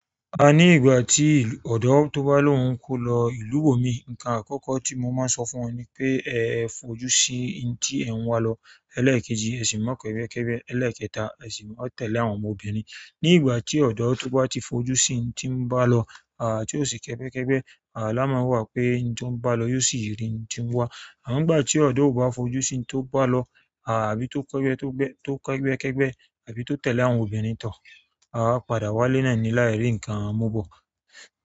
A ní ìgbà tí ọ̀dọ́ tó bá lóun ń kó lọ ìlú ibòmíì. Nǹkan àkọ́kọ́ tí mo máa sọ fún wọn ni pé ẹ̀ fojú sí intí ẹ̀ ń wá lọ, ẹlẹ́ẹ̀kejì ẹ sì má kẹ́gbẹ́ kẹ́gbẹ́, ẹlẹ́ẹ̀kẹta ẹ sì má tẹ̀lé àwọn ọmọbìnrin. Ní ìgbà tí ọ̀dọ́ tó bá ti fojú sí intí ń bá lọ, à tí ó sì kẹ́gbẹ́ kẹ́gbẹ́, à lá máa mọ̀ pé intí ó ń bá lọ yóò sì rí intí ń wá. Àmọ́ ńgbà tí ọ̀dọ́ ò bá fojú sí intí ó bá lọ à bí tó kẹ́gbẹ́ tó kẹ́gbẹ́ tó kẹ́gbẹ́ kẹ́gbẹ́ à bí tó tẹ̀lé àwọn obìnrin tọ̀, a máa padà wá lénà ẹni láìrí nǹkan mú bọ̀.